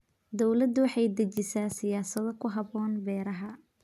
Dawladdu waxay dejisaa siyaasado ku habboon beeraha.